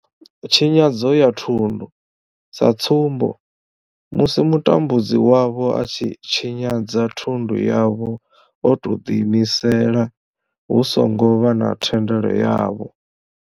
Tshinyadzo ya thundu, sa tsumbo, musi mutambudzi wavho a tshi tshinyadza thundu yavho o tou ḓiimisela hu songo vha na thendelo yavho.